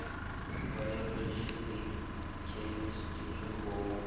ho bayoloji le khemistri ho